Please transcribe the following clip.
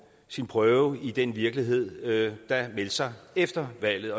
sin prøve i den virkelighed der meldte sig efter valget